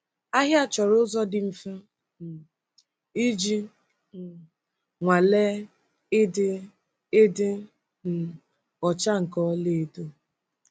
Ahịa chọrọ ụzọ dị mfe um iji um nwalee ịdị ịdị um ọcha nke ọlaedo.